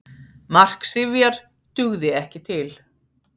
Mark Sifjar dugði ekki til